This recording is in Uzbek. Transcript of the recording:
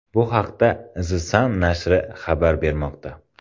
Bu haqda The Sun nashri xabar bermoqda .